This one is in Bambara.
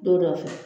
Don dɔ fɛ